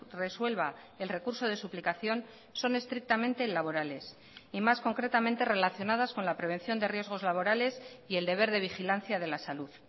resuelva el recurso de suplicación son estrictamente laborales y más concretamente relacionadas con la prevención de riesgos laborales y el deber de vigilancia de la salud